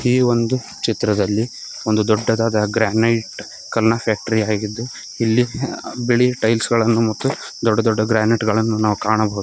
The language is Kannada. ಈ ಒಂದು ಚಿತ್ರದಲ್ಲಿ ಒಂದು ದೊಡ್ಡದಾದ ಗ್ರಾನೆಟ್ ಕಲ್ನಾ ಫ್ಯಾಕ್ಟರಿ ಆಗಿದ್ದು ಇಲ್ಲಿ ಆ ಬಿಳಿ ಟೈಲ್ಸ್ ಗಳನ್ನು ಮತ್ತು ದೊಡ್ಡ ದೊಡ್ಡ ಗ್ರಾನೆಟ್ ಗಳನ್ನು ನಾವು ಕಾಣಬಹುದು.